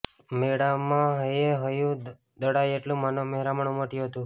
મેળામાં હૈયેહૈયું દળાય એટલુ માનવ મહેરામણ ઉમટ્યુ હતુ